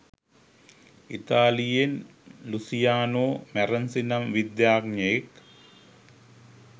ඉතාලියෙන් Luciano Marenzi නම් විද්‍යාඥයෙක්